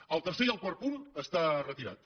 el tercer i el quart punt estan retirats